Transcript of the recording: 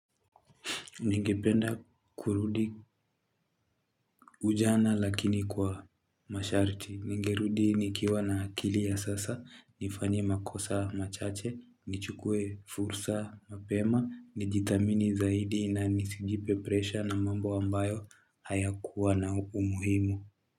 Ningependa kurudi ujana lakini kwa masharti, ningerudi nikiwa na akili ya sasa, nifanye makosa machache, nichukue fursa mapema, nijithamini zaidi na nisijipe presha na mambo ambayo hayakuwa na umuhimu.